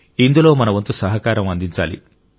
ఇందులో మన వంతు సహకారం అందించాలి